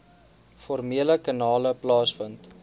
formele kanale plaasvind